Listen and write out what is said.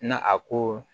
Na a ko